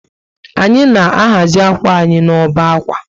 Anyị na ahazi akwa anyi na ọbá akwa